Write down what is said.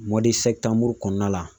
kɔnɔna la